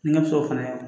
N ka so fana